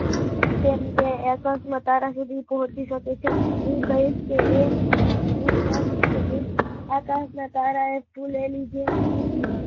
તે ને તે અહેસાસ ના તારા સુદી પોચી શકે છે, હું કહીશ તો એ, હું કહીશ તો એ, એ આકાશ ના તારાઓ એ જુલેલી એ